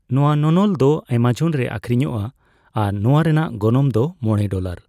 ᱱᱚᱣᱟ ᱱᱚᱱᱚᱞ ᱫᱚ ᱮᱢᱟᱡᱚᱱ ᱨᱮ ᱟᱹᱠᱷᱤᱨᱤᱧᱚᱜᱼᱟ ᱟᱨ ᱱᱚᱣᱟ ᱨᱮᱭᱟᱜ ᱜᱚᱱᱚᱝ ᱫᱚ ᱢᱚᱲᱮ ᱰᱚᱞᱟᱨ ᱾